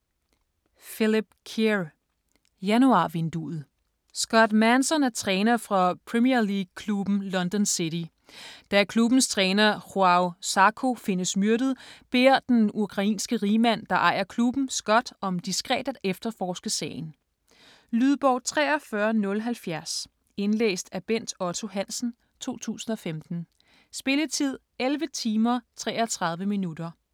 Kerr, Philip: Januarvinduet Scott Manson er træner for Premier League klubben London City. Da klubbens træner Joao Zarco findes myrdet, beder den ukrainske rigmand, der ejer klubben, Scott om diskret at efterforske sagen. Lydbog 43070 Indlæst af Bent Otto Hansen, 2015. Spilletid: 11 timer, 33 minutter.